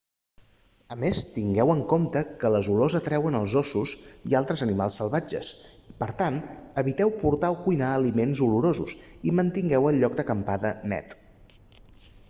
a més tingueu en compte que les olors atreuen els ossos i a altres animals salvatges per tant eviteu portar o cuinar aliments olorosos i mantingueu el lloc d'acampada net